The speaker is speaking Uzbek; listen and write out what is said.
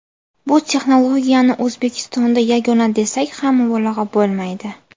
Bu texnologiyani O‘zbekistonda yagona desak ham mubolag‘a bo‘lmaydi.